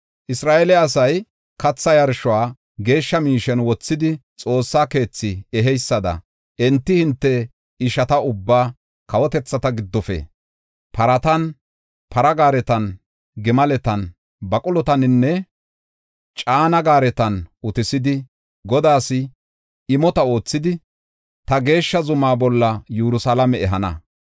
Isra7eele asay katha yarshuwa geeshsha miishen wothidi xoossa keethi eheysada, enti hinte ishata ubbaa kawotethata giddofe, paratan, para gaaretan, gimaletan, baqulotaninne caane gaaretan utisidi, Godaas imo oothidi ta geeshsha zumaa bolla Yerusalaame ehana.